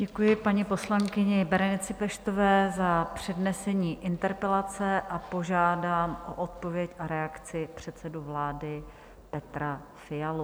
Děkuji paní poslankyni Berenice Peštové za přednesení interpelace a požádám o odpověď a reakci předsedu vlády Petra Fialu.